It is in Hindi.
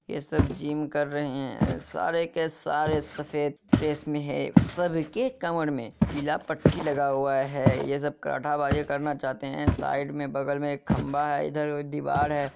ये सब जिम कर रहे है सारे के सारे सफेद ड्रेस में है सबकी कमर में पीला पट्टी लगा हुआ है ये सब कराटा बाजी करना चाहते हैं साइड में बगल में एक खंभा है इधर एक दीवार है।